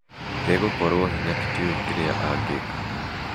Igũkorwa hinya tũtio kĩrĩa angĩka